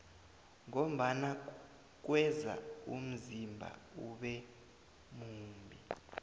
ngombana kweza umzimba ube mumbi